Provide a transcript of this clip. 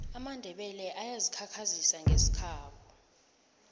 amandebele ayazi khakhazisa ngesikhabo